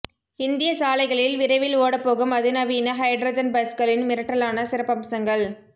இந்திய சாலைகளில் விரைவில் ஓடப்போகும் அதிநவீன ஹைட்ரஜன் பஸ்களின் மிரட்டலான சிறப்பம்சங்கள்